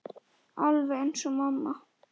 Alveg eins og mamma.